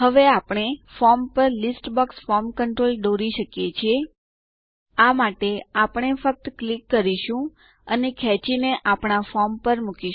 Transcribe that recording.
હવે આપણે આપણા ફોર્મ પર લીસ્ટ બોક્સ ફોર્મ કન્ટ્રોલ દોરી શકીએ છીએ આ માટે આપણે ફક્ત ક્લિક કરીશું અને ખેંચી ને આપણા ફોર્મ પર મુકો